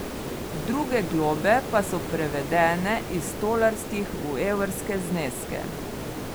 Druge globe pa so prevedene iz tolarskih v evrske zneske.